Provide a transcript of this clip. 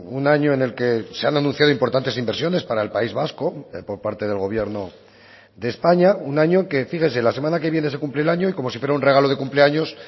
un año en el que se han anunciado importantes inversiones para el país vasco por parte del gobierno de españa un año que fíjese la semana que viene se cumple el año y como si fuera un regalo de cumpleaños